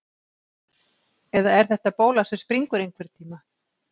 Eða er þetta bóla sem springur einhvern tíma?